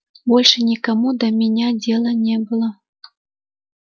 больше никому до меня дела не было